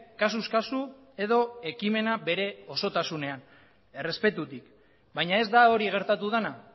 kasuz kasu edo ekimena bere osotasunean errespetutik baina ez da hori gertatu dena